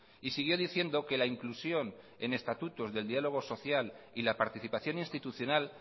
y siguió diciendo que la inclusión en estatutos del diálogo social y la participación institucional